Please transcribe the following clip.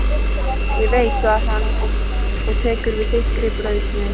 Ég veit segir hann og tekur við þykkri brauðsneið.